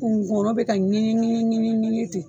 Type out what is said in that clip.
Ngɔɔnɔ bɛ ka ŋɛɲɛ ŋɛɲɛ ŋɛɲɛ ŋɛɲɛ ten